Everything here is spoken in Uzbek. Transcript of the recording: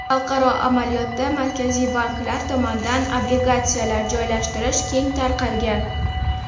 Xalqaro amaliyotda markaziy banklar tomonidan obligatsiyalar joylashtirish keng tarqalgan.